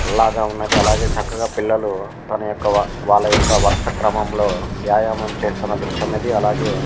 అలాగే చక్కగా పిల్లలు తనయొక్క వాళ్ళయొక్క వరుస క్రమంలో వ్యాయామం చేస్తున్న దృశ్యం ఇది అలాగే --